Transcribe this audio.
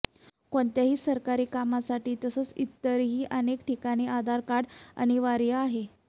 कोणत्याही सरकारी कामासाठी तसंच इतरही अनेक ठिकाणी आधार कार्ड अनिवार्य आहे